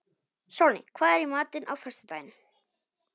Sólný, hvað er í matinn á föstudaginn?